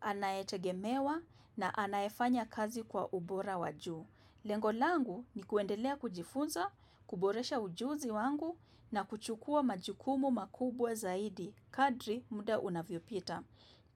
anayetegemewa na anayefanya kazi kwa ubora wajuu. Lengo langu ni kuendelea kujifunza, kuboresha ujuzi wangu na kuchukua majukumu makubwa zaidi, kadri muda unavyopita.